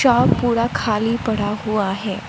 Shop पूरा खाली पड़ा हुआ है।